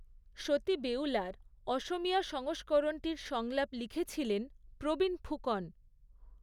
সতী বেউলার অসমীয়া সংস্করণটির সংলাপ লিখেছিলেন প্ৰবীন ফুকন।